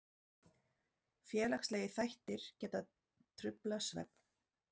Félagslegir þættir geta truflað svefn.